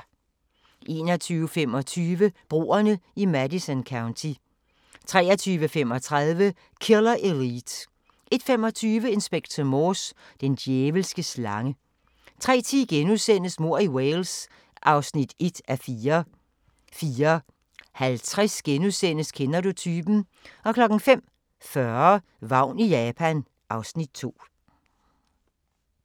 21:25: Broerne i Madison County 23:35: Killer Elite 01:25: Inspector Morse: Den djævelske slange 03:10: Mord i Wales (1:4)* 04:50: Kender du typen? * 05:40: Vagn i Japan (Afs. 2)